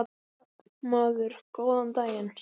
Maður: Góðan daginn.